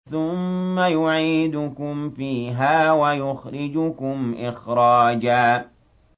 ثُمَّ يُعِيدُكُمْ فِيهَا وَيُخْرِجُكُمْ إِخْرَاجًا